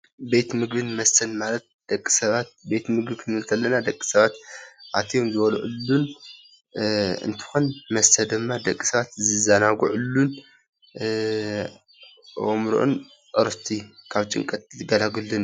ቤት ምግብን መስተን ማለት ደቂ ሰባት ቤት ምግቢ ክንብል ከለና ደቂ ሰባት ኣትዮም ዝበልዑሉን እንትኾን መስተ ድማ ደቂ ሰባት ዝዛናግዑሉን ኣእምሮኦም ዕርፍቲ ካብ ጭንቀት ዝጋላገልሉን እዩ፡፡